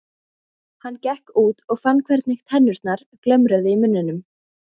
Hann gekk út og fann hvernig tennurnar glömruðu í munninum.